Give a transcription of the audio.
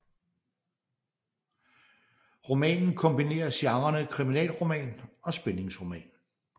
Romanen kombinerer genrerne kriminalroman og spændingsroman